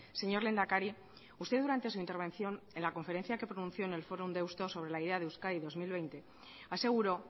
señor lehendakari usted durante su intervención en la conferencia que pronunció en el forum deusto sobre la idea de euskadi dos mil veinte aseguró